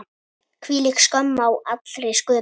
Hvílík skömm á allri sköpun.